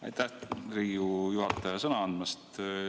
Aitäh, Riigikogu juhataja, sõna andmast!